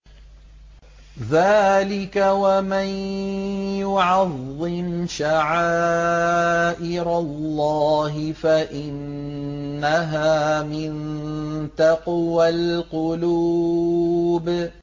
ذَٰلِكَ وَمَن يُعَظِّمْ شَعَائِرَ اللَّهِ فَإِنَّهَا مِن تَقْوَى الْقُلُوبِ